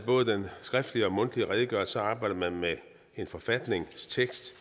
både den skriftlige og mundtlige redegørelse arbejder man med en forfatningstekst